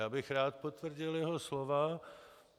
Já bych rád potvrdil jeho slova.